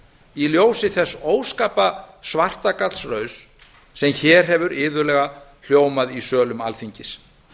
í ljósi þess óska svartagallsrauss sem hér hefur iðulega hljómað í sölum alþingis